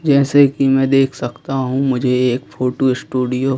जैसे कि मैं देख सकता हूं मुझे एक फोटो स्टूडियो --